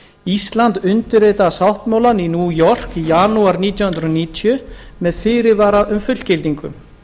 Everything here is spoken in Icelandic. ísland undirritaði sáttmálann í new york í janúar nítján hundruð níutíu með fyrirvara um fullgildingu